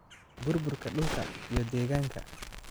Burburka Dhulka iyo Deegaanka.